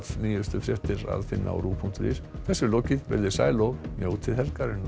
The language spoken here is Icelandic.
nýjustu fréttir að finna á ruv punktur is þessu er lokið veriði sæl og njótið helgarinnar